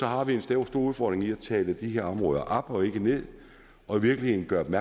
har vi en stor udfordring i at tale de her områder op og ikke ned og i virkeligheden gøre den